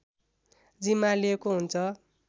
जिम्मा लिएको हुन्छ